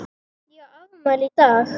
Ég á afmæli í dag.